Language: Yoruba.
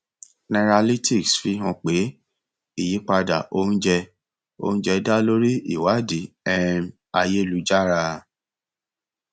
nairalytics fi hàn pé ìyípadà oúnjẹ oúnjẹ dá lórí ìwádìí um ayélujára